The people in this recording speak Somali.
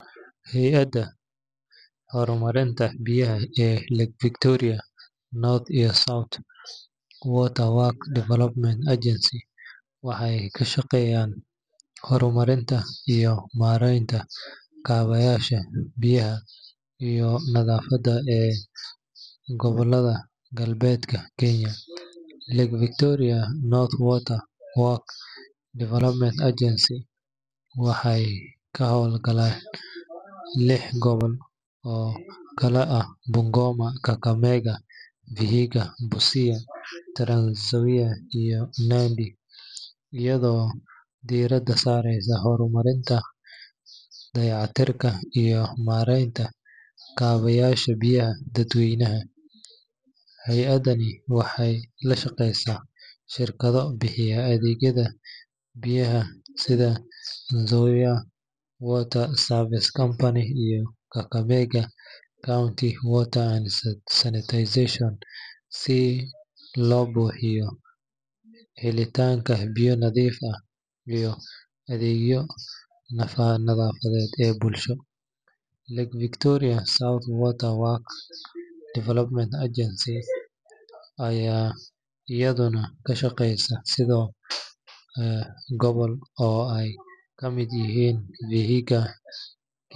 Hay’adaha horumarinta biyaha ee Lake Victoria North iyo South Water Works Development Agencies waxay ka shaqeeyaan horumarinta iyo maaraynta kaabayaasha biyaha iyo nadaafadda ee gobollada galbeedka Kenya. Lake Victoria North Water Works Development Agency (LVNWWDA) waxay ka hawlgashaa lix gobol oo kala ah Bungoma, Kakamega, Vihiga, Busia, Trans-Nzoia, iyo Nandi, iyadoo diiradda saareysa horumarinta, dayactirka, iyo maaraynta kaabayaasha biyaha dadweynaha. Hay’addani waxay la shaqeysaa shirkado bixiya adeegyada biyaha sida Nzoia Water Services Company iyo Kakamega County Water & Sanitation Company si loo hubiyo helitaanka biyo nadiif ah iyo adeegyada nadaafadda ee bulshada. Lake Victoria South Water Works Development Agency (LVSWWDA) ayaa iyaduna ka shaqeysa siddeed gobol oo ay ka mid yihiin vihiga.